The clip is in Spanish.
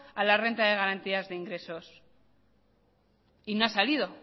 a la renta de garantías de ingreso y no ha salido